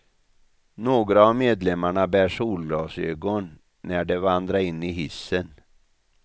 Några av medlemmarna bär solglasögon när de vandra in i hissen.